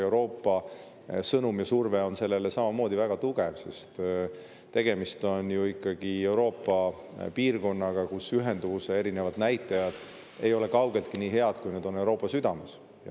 Euroopa surve on samamoodi väga tugev, sest tegemist on ju ikkagi Euroopa sellise piirkonnaga, kus erinevad ühenduvuse näitajad ei ole kaugeltki nii head, kui nad on Euroopa südames.